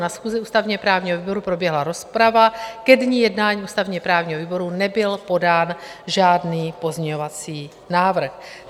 Na schůzi ústavně-právního výboru proběhla rozprava, ke dni jednání ústavně-právního výboru nebyl podán žádný pozměňovací návrh.